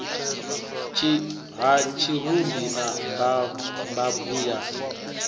ha tshirumbi na mbabvu ya